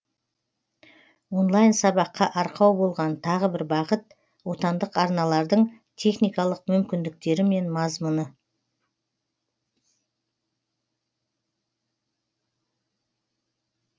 онлайн сабаққа арқау болған тағы бір бағыт отандық арналардың техникалық мүмкіндіктері мен мазмұны